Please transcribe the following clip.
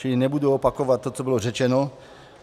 Čili nebudu opakovat to, co bylo řečeno.